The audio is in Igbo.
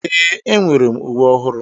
Ee, enwere m uwe ọhụrụ.